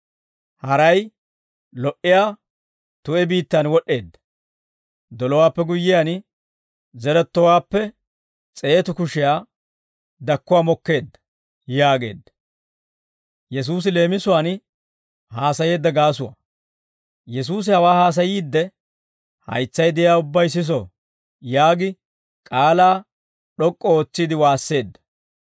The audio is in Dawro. Haray lo"iyaa tu'e biittaan wod'd'eedda. Dolowaappe guyyiyaan, zerettowaappe s'eetu kushiyaa dakkuwaa mokkeedda» yaageedda. Yesuusi Leemisuwaan Haasayeedda Gaasuwaa ( Mat. 13:10-17 ; Mar. 4:10-12 ) Yesuusi hawaa haasayiidde, «Haytsay de'iyaa ubbay siso» yaagi k'aalaa d'ok'k'u ootsiide waasseedda.